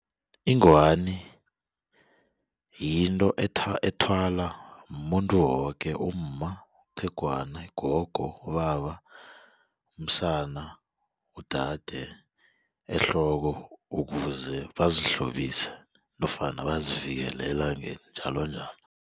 Ingwani yinto ethwala mumuntu woke umma, iqhegwana, ugogo, ubaba, umsana, udade ehloko ukuze bazihlobise nofana bazivikele elangeni njalonjalo.